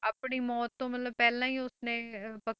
ਆਪਣੀ ਮੌਤ ਤੋਂ ਮਤਲਬ ਪਹਿਲਾਂ ਹੀ ਉਸਨੇ ਅਹ ਪ~